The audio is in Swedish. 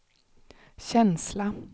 känsla